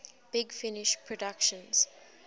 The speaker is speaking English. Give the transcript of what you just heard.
big finish productions